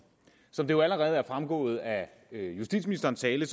som det jo allerede er fremgået af justitsministerens tale